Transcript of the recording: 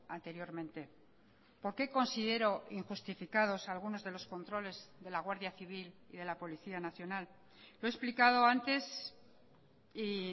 anteriormente por qué considero injustificados algunos de los controles de la guardia civil y de la policía nacional lo he explicado antes y